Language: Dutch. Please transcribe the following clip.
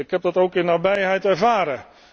Ik heb dat ook in nabijheid ervaren.